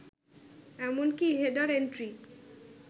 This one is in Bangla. এমনকি হেডার এন্ট্রি